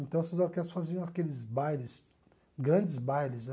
Então, essas orquestras faziam aqueles bailes, grandes bailes, né?